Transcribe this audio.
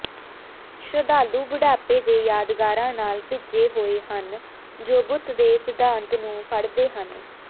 ਸ਼ਰਧਾਲੂ ਬੁਢਾਪੇ ਦੇ ਯਾਦਗਾਰਾਂ ਨਾਲ ਭਿੱਜੇ ਹੋਏ ਹਨ ਜੋ ਬੁੱਤ ਦੇ ਸਿਧਾਂਤ ਨੂੰ ਫੜਦੇ ਹਨ